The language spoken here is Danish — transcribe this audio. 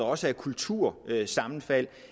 også har kultursammenfald